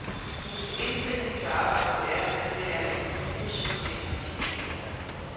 Hendes indstilling til arbejdet er, at det er et livsforskningsprojekt.